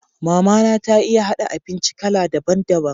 Mama na ta iya haɗa abinci kala daban daban.